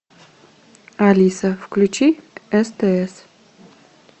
алиса включи стс